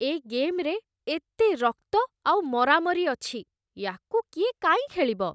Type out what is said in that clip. ଏ ଗେମ୍‌ରେ ଏତେ ରକ୍ତ ଆଉ ମରାମରି ଅଛି । ୟାକୁ କିଏ କାଇଁ ଖେଳିବ?